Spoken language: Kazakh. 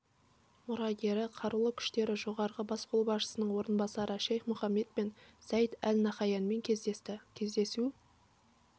мұрагері қарулы күштері жоғарғы бас қолбасшысының орынбасары шейх мұхаммед бен заид әл наһаянмен кездесті кездесу